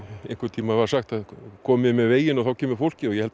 einhvern tímann var sagt komið með veginn og þá kemur fólkið og ég held